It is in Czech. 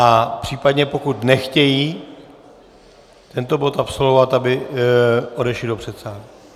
A případně pokud nechtějí tento bod absolvovat, aby odešli do předsálí.